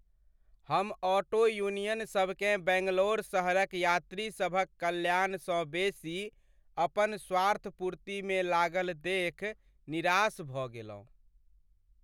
हम ऑटो यूनियनसभकेँ बैंगलोर शहरक यात्रीसभक कल्याणसँ बेसी अपन स्वार्थपूर्तिमे लागल देखि निराश भऽ गेलहुँ।